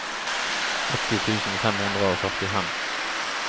åtti tusen fem hundre og førtifem